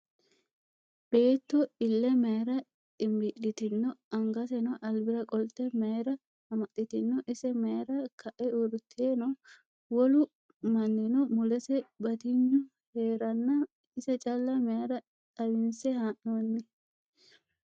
Beetto ille mayiira xinbii'litino? Angaseno albira qolte mayiira amaxxitino? Ise mayiira ka'e uurrite no? Wolu mannino mulese batignu heerenna ise calla mayiira xawinse haa'noyi?